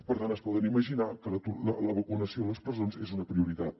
per tant es poden imaginar que la vacunació a les presons és una prioritat